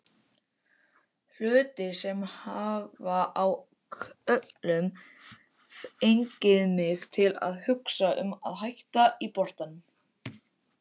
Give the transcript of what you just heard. Hlutir sem hafa á köflum fengið mig til að hugsa um að hætta í boltanum.